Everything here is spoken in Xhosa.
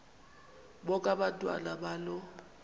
bonke abantwana balo